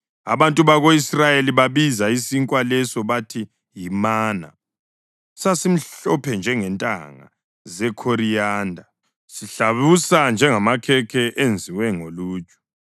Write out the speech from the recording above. Abantu bako-Israyeli babiza isinkwa leso bathi yimana. Sasimhlophe njengentanga zekhoriyanda, sihlabusa njengamakhekhe enziwe ngoluju.